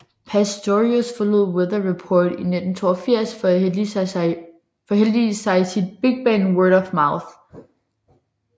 Pastorius forlod Weather Report i 1982 for at hellige sig sit bigband Word of Mouth